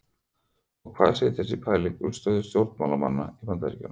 Og hvað segir þessi pæling um stöðu stjórnmálanna í Bandaríkjunum?